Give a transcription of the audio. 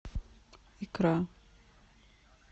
икра